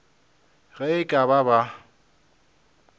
ge e ka ba ba